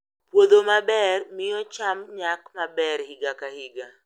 Puodho maber miyo cham nyak maber higa ka higa.